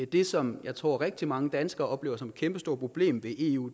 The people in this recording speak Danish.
det som jeg tror rigtig mange danskere oplever som et kæmpestort problem i eu